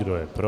Kdo je pro?